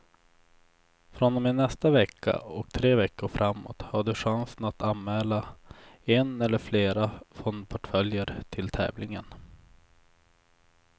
Från och med nästa vecka och tre veckor framåt har du chansen att anmäla en eller flera fondportföljer till tävlingen.